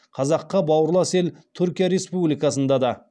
қазаққа бауырлас ел түркия республикасында да